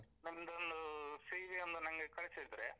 ನಿಮ್ದೊಂದು CV ಒಂದು ನನ್ಗೆ ಕಳಿಸಿದ್ರೆ.